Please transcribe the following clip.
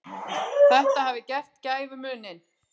Þetta hafi gert gæfumuninn.